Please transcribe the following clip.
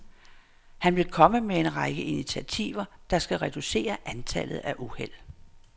Han vil komme med en række initiativer, der skal reducere antallet af uheld.